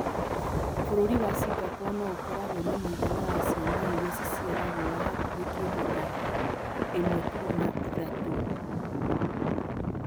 Bũrũri wa Singapore no ĩkoragwo na mũigana wa ciana iria ciciaragwo wa hakuhĩ kĩndũ ta 1.3